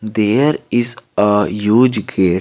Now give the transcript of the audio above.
There is a huge gate.